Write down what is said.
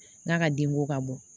N'a ka denko ka bɔ